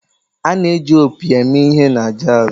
A na-eji opi eme ihe na jazz.